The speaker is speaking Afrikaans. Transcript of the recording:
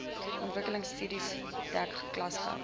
ontwikkelingstudiebeurse dek klasgeld